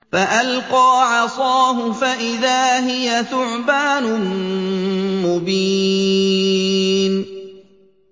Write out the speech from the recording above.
فَأَلْقَىٰ عَصَاهُ فَإِذَا هِيَ ثُعْبَانٌ مُّبِينٌ